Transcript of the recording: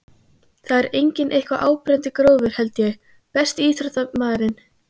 það er engin eitthvað áberandi grófur held ég Besti íþróttafréttamaðurinn?